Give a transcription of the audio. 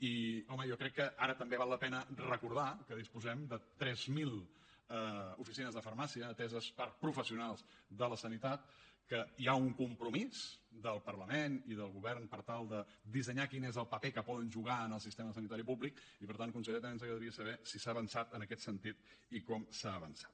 i home jo crec que ara també val la pena recordar que disposem de tres mil oficines de farmàcia ateses per professionals de la sanitat que hi ha un compromís del parlament i del govern per tal de dissenyar quin és el paper que poden jugar en el sistema sanitari públic i per tant conseller també ens agradaria saber si s’ha avançat en aquest sentit i com s’ha avançat